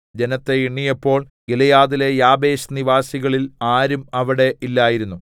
ജനത്തെ എണ്ണിയപ്പോൾ ഗിലെയാദിലെ യാബേശ് നിവാസികളിൽ ആരും അവിടെ ഇല്ലായിരുന്നു